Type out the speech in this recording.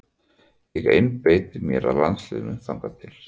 Ég einbeiti mér að landsliðinu þangað til.